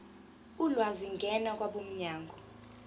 ulwazi ngena kwabomnyango